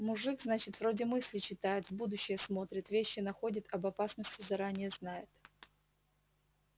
мужик значит вроде мысли читает в будущее смотрит вещи находит об опасности заранее знает